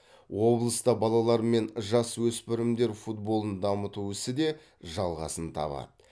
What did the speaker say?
облыста балалар мен жасөспірімдер футболын дамыту ісі де жалғасын табады